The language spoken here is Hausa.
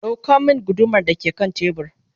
ɗauko min guduma da ke kan tebur!